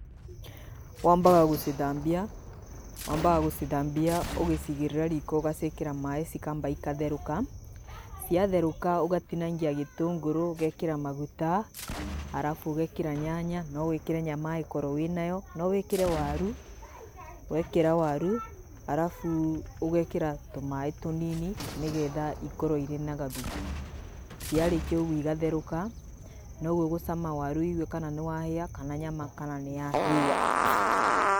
Wambaga gũcithambia wambaga gũcithambia ũgĩcigĩrĩra riko ũgaciĩkĩra maaĩ cikamba igatherũka, ciatherũka ũgatinangia gĩtũngũrũ ũgekĩra maguta, arabu ũgekĩra nyanya, no wĩkĩre nyama angĩkorwo wĩnayo. No wĩkĩre waru, wekĩra waru arabu ũgekĩra tũmaĩ tũnini nĩ getha ikorwo irĩ na gathubu. Ciarĩkia ũguo igatherũka na rĩu ũgũcama waru wigue kana nĩ wahĩa kana nyama kana nĩ yahĩa.